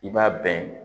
I b'a bɛn